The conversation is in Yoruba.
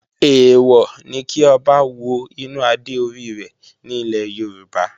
Èèwọ̀ ni kí Ọba wo inú adé orí rẹ̀ ní ilẹ̀ Yorùbá